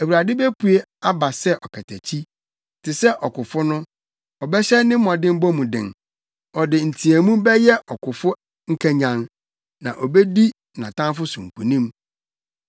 Awurade bepue aba sɛ ɔkatakyi, te sɛ ɔkofo no, ɔbɛhyɛ ne mmɔdemmɔ mu den; ɔde nteɛmu bɛyɛ ɔkofo nkanyan na obedi nʼatamfo so nkonim.